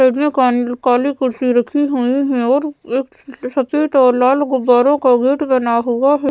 इसमें कान काली कुर्सी रखी हुईं हैं और एक सफेद और लाल गुब्बारों का गेट बना हुआ है।